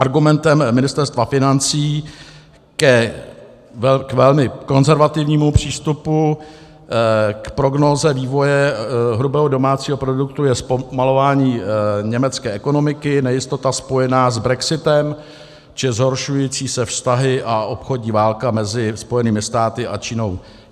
Argumentem Ministerstva financí k velmi konzervativnímu přístupu k prognóze vývoje hrubého domácího produktu je zpomalování německé ekonomiky, nejistota spojená s brexitem či zhoršující se vztahy a obchodní válka mezi Spojenými státy a Čínou.